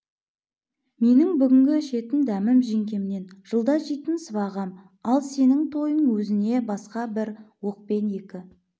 менің бүгінгі ішетін дәмім жеңгемнен жылда жейтін сыбағам ал сенін тойын өзіне басқа бір оқпен екі